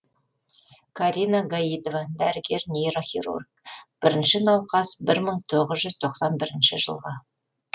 карина гаитова дәрігер нейрохирург бірінші науқас бір мың тоғыз жүз тоқсан бірінші жылғы